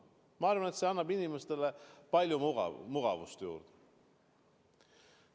Ma arvan, et see annab inimestele palju mugavust juurde.